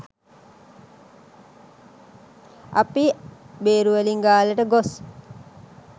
අපි බේරුවලින් ගාල්ලට ගොස්